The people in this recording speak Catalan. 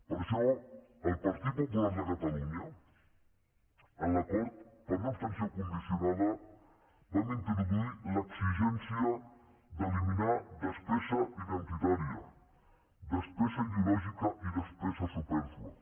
per això el partit popular de catalunya en l’acord per una abstenció condicionada vam introduir l’exigència d’eliminar despesa identitària despesa ideològica i despesa supèrflua